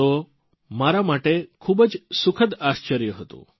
તો મારા માટે ખૂબ સુખદ આશ્ચર્ય હતું